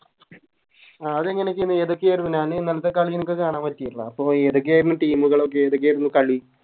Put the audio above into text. ആഹ് അത് എങ്ങനൊക്കെയന്നു ഏതൊക്കെയാരുന്നു ഞാനീ ഇന്നലെത്തെ കളി എൻക്ക് കാണാൻ പറ്റിട്ടില്ല അപ്പൊ ഏതൊക്കെയാരുന്നു Team കളൊക്കെ ഏതൊക്കെയായിരുന്നു കളി